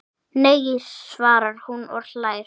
Nei! svarar hún og hlær.